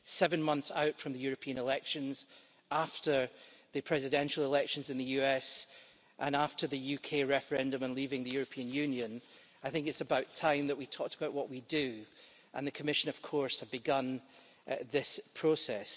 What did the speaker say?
Seven months out from the European elections, after the presidential elections in the US and after the UK referendum and leaving the European Union, I think it is about time that we talked about what we do, and the Commission has begun this process.